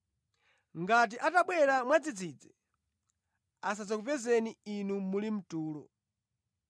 Ngati atabwera mwadzidzidzi, asadzakupezeni inu muli mtulo.